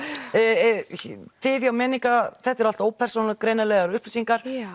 þið hjá þetta eru allt ópersónugreinanlegar upplýsingar